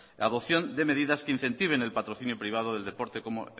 la adopción de medidas que incentiven el patrocinio privado del deporte como